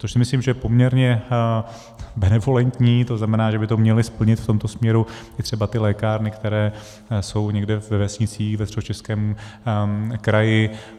Což si myslím, že je poměrně benevolentní, to znamená že by to měly splnit v tomto směru i třeba ty lékárny, které jsou někde ve vesnicích ve Středočeském kraji.